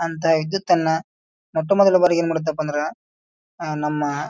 ಅಂತ ವಿದ್ಯುತ್ ಅನ್ನ ಮೊತ್ತು ಮೊದಲ ಬಾರಿಗ ಏನ್ ಮಾಡತ್ತಪ್ಪ ಅಂದ್ರ ಆಹ್ಹ್ ನಮ್ಮ--